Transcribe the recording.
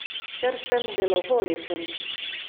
Ker sem deloholičen.